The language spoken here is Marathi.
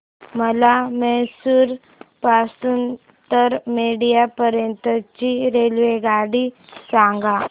मला म्हैसूर पासून तर मंड्या पर्यंत ची रेल्वेगाडी सांगा